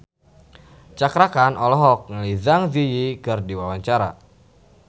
Cakra Khan olohok ningali Zang Zi Yi keur diwawancara